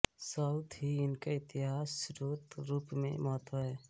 साथ ही इनका इतिहास स्रोत रूप में महत्त्व है